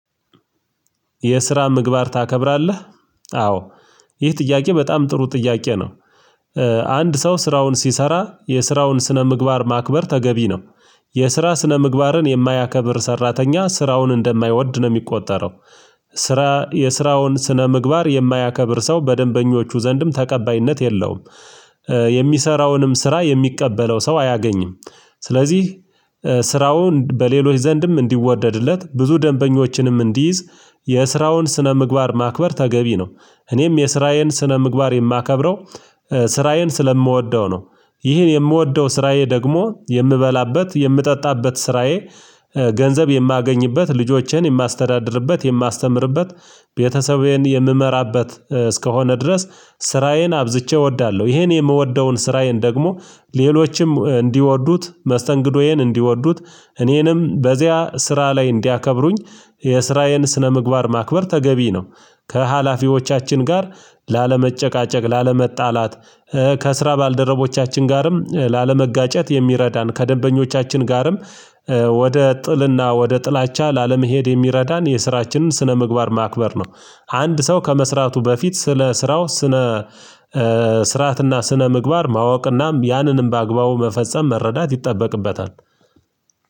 የስራ ምግባር ታከብራለህ? አዎ ይህ ጥያቄ በጣም ጥሩ ጥያቄ ነው። አንድ ሰው ስራውን ሲሰራ የስራውን ስነምግባር ማክበር ተገቢ ነው። የስራ ስነምግባርን የማያከብር ሰራተኛ ስራውን እንደማይወድ ነው የሚቆጠረው። ስራ የስራውን ስነ ምግባር የማያከብር ሰው በደንበኞቹ ዘንድም ተቀባይነት የለውም። የሚሰራውንም ስራ የሚቀበለው ሰው አያገኝም። ስለዚህ ስራውን በሌሎች ዘንድም እንዲወደድለት ብዙ ደንበኞችንም እንዲይዝ የስራውን ስነ ምግባር ማክበር ተገቢ ነው። እኔም የስራዬን ስነ ምግባር የማከብረው ስራዬን ስለምወደው ነው። ይህን የምወደው ስራዬ ደግሞ የምበላበት የምጠጣበት ስራዬ። ገንዘብ የማገኝበት ልጆቼን የማስተዳድርበት የማስተምርበት ቤተሰቤን የምመራበት እስከሆነ ድረስ ስራዬን አብዝቼ እወዳለሁ። ይሄን የምወደውን ስራዬን ደግሞ ሌሎችም እንዲወዱት መስተንግዶዬን እንዲወዱት እኔንም በዚያ ስራ ላይ እንዲያከብሩኝ የስራዬን ስነምግባር ማክበር ተገቢ ነው። ከሀላፊዎቻችን ጋር ላለመጨቃጨቅ ላለመጣላት ከስራ ባልደረቦቻችን ጋርም ላለመጋጨት የሚረዳን ከደንበኞቻችን ጋርም ወደ ጥልና ወደ ጥላቻ ላለመሄድ የሚረዳን የስራችንን ስነምግባር ማክበር ነው። አንድ ሰው ከመስራቱ በፊት ስለ ስራው ስነ ስርዓትና ስነ ምግባር ማወቅናም ያንንም በአግባቡ መፈጸም መረዳት ይጠበቅበታል።